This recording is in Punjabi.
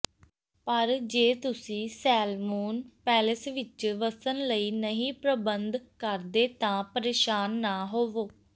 ਪਰ ਜੇ ਤੁਸੀਂ ਸੈਲਮੂਨ ਪੈਲੇਸ ਵਿਚ ਵਸਣ ਲਈ ਨਹੀਂ ਪ੍ਰਬੰਧ ਕਰਦੇ ਤਾਂ ਪਰੇਸ਼ਾਨ ਨਾ ਹੋਵੋ